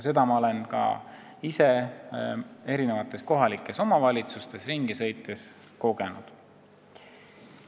Seda ma olen ka ise ringi sõites ja kohalikes omavalitsustes käies kogenud.